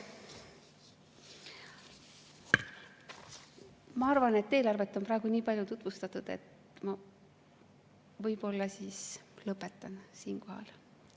Ma arvan, et eelarvet on praegu nii palju tutvustatud, et ma võib-olla siis lõpetan siinkohal.